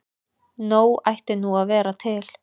Nóg ætti nú að vera til.